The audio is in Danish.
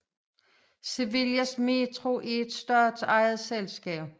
Sevillas Metro er et statsejet selskab